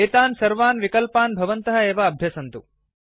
एतान् सर्वान् विकल्पान् भवन्तः एव अभ्यसन्तु